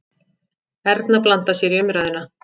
Erna blandar sér í umræðuna.